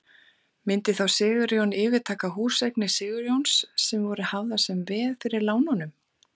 Myndi þá Sigurjón yfirtaka húseignir Sigurjóns sem voru hafðar sem veð fyrir lánunum?